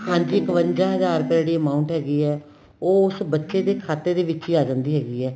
ਹਾਂਜੀ ਇਕਵੰਜਾ ਹਜਾਰ ਰੁਪਇਆ ਜਿਹੜੀ amount ਹੈਗੀ ਏ ਉਹ ਉਸ ਬੱਚੇ ਦੇ ਖਾਤੇ ਦੇ ਵਿੱਚ ਹੀ ਆ ਜਾਂਦੀ ਹੈਗੀ ਏ